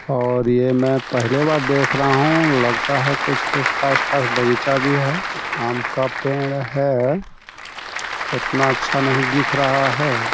और ये मैं पहले बार देख रहा हूँ लगता है कुछ-कुछ ख़ास-ख़ास बगीचा भी है आम का पेड़ है उतना अच्छा नहीं दिख रहा है।